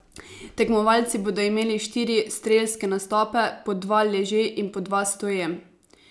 Tekmovalci bodo imeli štiri strelske nastope, po dva leže in po dva stoje.